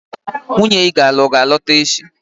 Nwunye iga alụlụ a ga-alọta echi?